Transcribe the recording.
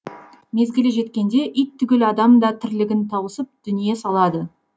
мезгілі жеткенде ит түгіл адам да тірлігін тауысып дүние салады